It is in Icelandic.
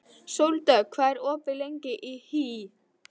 Sóldögg, hvað er opið lengi í HÍ?